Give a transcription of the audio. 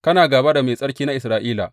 Kana gāba da Mai Tsarki na Isra’ila!